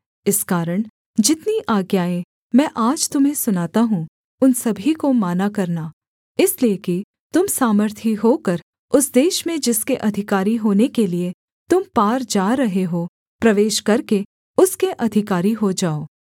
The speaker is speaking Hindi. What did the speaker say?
इस कारण जितनी आज्ञाएँ मैं आज तुम्हें सुनाता हूँ उन सभी को माना करना इसलिए कि तुम सामर्थी होकर उस देश में जिसके अधिकारी होने के लिये तुम पार जा रहे हो प्रवेश करके उसके अधिकारी हो जाओ